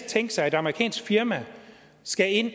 tænke sig at et amerikansk firma skal ind